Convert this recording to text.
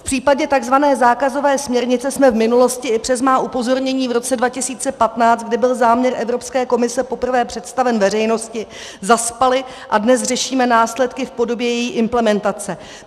V případě tzv. zákazové směrnice jsme v minulosti i přes má upozornění v roce 2015, kdy byl záměr Evropské komise poprvé představen veřejnosti, zaspali a dnes řešíme následky v podobě její implementace.